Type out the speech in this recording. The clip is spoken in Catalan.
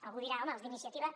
algú dirà home els d’iniciativa